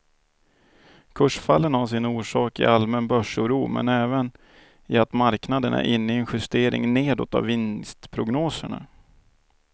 Kursfallen har sin orsak i allmän börsoro men även i att marknaden är inne i en justering nedåt av vinstprognoserna.